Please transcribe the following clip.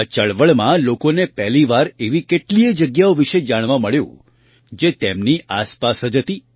આ ચળવળમાં લોકોને પહેલી વાર એવી કેટલીય જગ્યાઓ વિશે જાણવા મળ્યું જે તેમની આસપાસ જ હતી